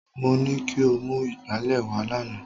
Mo ní kí o mú ìgbálẹ̀ wá lánàá